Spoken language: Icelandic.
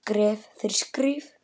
Skref fyrir skrif.